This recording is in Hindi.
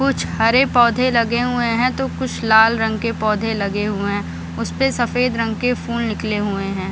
कुछ हरे पौधे लगे हुए हैं तो कुछ लाल रंग के पौधे लगे हुए हैं उसपे सफेद रंग के फूल निकले हुए हैं।